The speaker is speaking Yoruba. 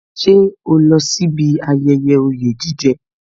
Ṣé o lọ sí ibi ayẹyẹ oye jije